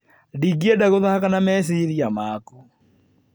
Ndingĩenda gũthaaka na meciria maku.